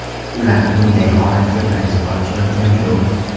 Ular bunday holatga birinchi bor tushayotgani yo‘q.